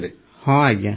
ପ୍ରେମ୍ ଜୀ ହଁ ଆଜ୍ଞା